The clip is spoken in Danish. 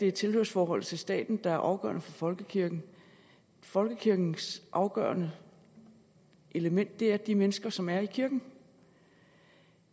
et tilhørsforhold til staten der er afgørende for folkekirken folkekirkens afgørende element er de mennesker som er i kirken